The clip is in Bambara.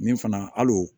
Min fana al'o